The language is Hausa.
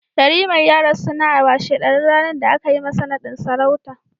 Yariman ya rasu na a washe ɗarin ranar da aka yi masa naɗin sarauta